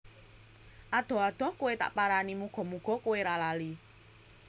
Adoh adoh kowe tak parani muga muga kowe ra lali